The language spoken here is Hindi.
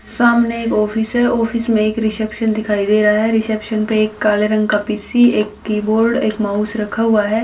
सामने एक ऑफिस है ऑफिस में एक रिसेप्शन दिखाई दे रहा है रिसेप्शन पे एक काले रंग का पी_सी एक कीबोर्ड एक माउस रखा हुआ है।